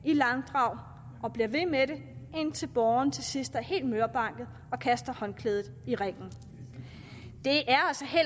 i langdrag og bliver ved med det indtil borgeren til sidst er helt mørbanket og kaster håndklædet i ringen det